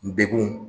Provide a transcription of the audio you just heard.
Degun